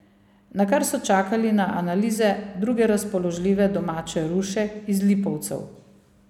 Nakar so čakali na analize druge razpoložljive domače ruše iz Lipovcev.